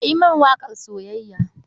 Ka yi mini waƙar soyayya.